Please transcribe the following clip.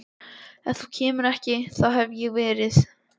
Ef þú kemur ekki þá hef ég verið